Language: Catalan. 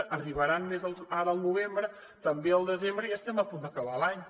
n’arribaran més ara al novembre també al desembre i estem a punt d’acabar l’any